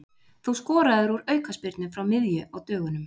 Þú skoraðir úr aukaspyrnu frá miðju á dögunum.